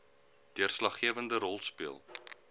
deurslaggewende rol speel